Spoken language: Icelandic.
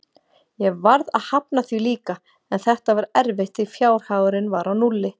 Ég varð að hafna því líka, en þetta var erfitt því fjárhagurinn var á núlli.